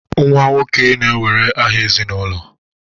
Nwa nwoke na-ewere aha ezinụlọ